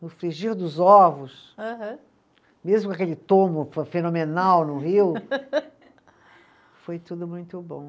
No frigir dos ovos. Aham. Mesmo com aquele tombo fe fenomenal no Rio, foi tudo muito bom.